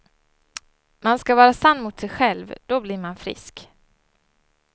Man ska vara sann mot sig själv, då blir man frisk.